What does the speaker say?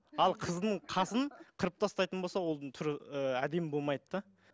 ал қыздың қасын қырып тастайтын болса ол түрі ы әдемі болмайды да